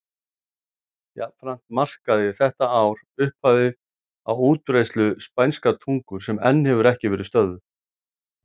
Jafnframt markaði þetta ár upphafið á útbreiðslu spænskrar tungu sem enn hefur ekki verið stöðvuð.